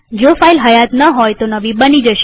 જો ફાઈલ હયાત ન હોય તો નવી બની જશે